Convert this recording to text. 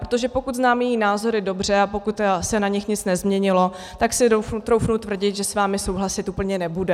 Protože pokud znám její názory dobře a pokud se na nich nic nezměnilo, tak si troufnu tvrdit, že s vámi souhlasit úplně nebude.